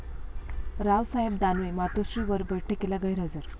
रावसाहेब दानवे 'मातोश्री'वर बैठकीला गैरहजर